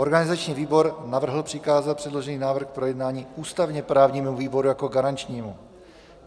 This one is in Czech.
Organizační výbor navrhl přikázat předložený návrh k projednání ústavně-právnímu výboru jako garančnímu.